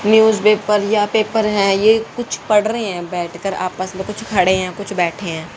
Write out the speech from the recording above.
Newspaper या paper है ये कुछ पढ़ रहे हैं बैठकर आपस में कुछ खड़े हैं कुछ बैठे हैं।